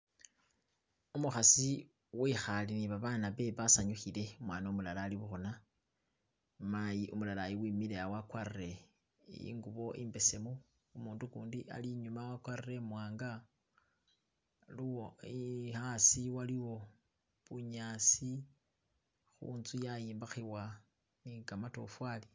Umukhasi wikhale ni babana bewe basanyukhile umwana umulala ali bukhuna mayi umulalayu wimilaha wakwarile ingubo imbesemu umutu gundi ali inyuma wagwarile imwanga hasi waliwo bunyasi ni intsu yayimbakhibwa ni kamatofari